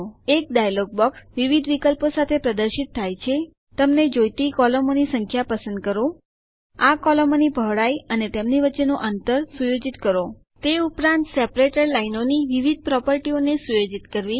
એક dialog box વિવિધ વિકલ્પો સાથે પ્રદર્શિત થાય છે તમને જોઈતી કોલમોની સંખ્યા પસંદ કરવી આ કોલમોની પહોળાઈ અને તેમની વચ્ચેનું અંતર સુયોજિત કરવું તે ઉપરાંત સેપરેટર વિભાજક લાઈનોની વિવિધ પ્રોપર્ટીઓ ને સુયોજિત કરવી